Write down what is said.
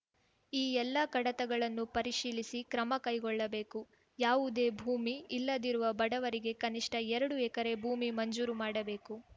ಈ ಎಲ್ಲಾ ಕಡತಗಳನ್ನು ಪರಿಶೀಲಿಸಿ ಕ್ರಮ ಕೈಗೊಳ್ಳಬೇಕು ಯಾವುದೇ ಭೂಮಿ ಇಲ್ಲದಿರುವ ಬಡವರಿಗೆ ಕನಿಷ್ಠ ಎರಡು ಎಕರೆ ಭೂಮಿ ಮಂಜೂರು ಮಾಡಬೇಕು